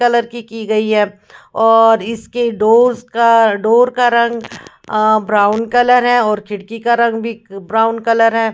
Colour की की गई है और इसके डोर्स का डोर का रंग आ ब्राउन कलर है और खिड़की का रंग भी ब्राउन कलर है।